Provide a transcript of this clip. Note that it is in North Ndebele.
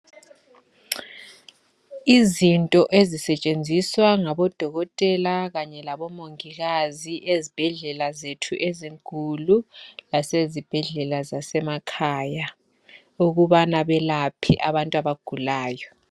Izinto ezisetshenziswa ngabodokotela Kanye labomongikazi ezibhedlela zethu ezinkulu kanye lasezibhedlela zethu zasemakhaya ukubana belaphe abantu abagulayo.